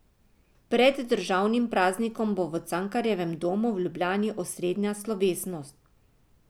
Pred državnim praznikom bo v Cankarjevem domu v Ljubljani osrednja slovesnost.